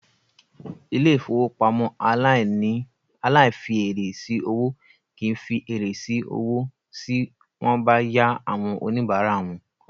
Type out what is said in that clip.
Ilé-ìfowópamọ́ aláìfièrè sí owó kì í fi èrè sí owó sí wọ́n bá yá àwọn oníbàárà wọn.